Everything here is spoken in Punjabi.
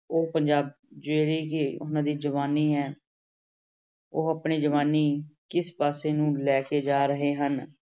ਉਹ ਪੰਜਾਬ ਜਿਹੜੇ ਕਿ ਉਹਨਾਂ ਦੀ ਜਵਾਨੀ ਹੈ ਉਹ ਆਪਣੀ ਜਵਾਨੀ ਕਿਸ ਪਾਸੇ ਨੂੰ ਲੈ ਕੇ ਜਾ ਰਹੇ ਹਨ।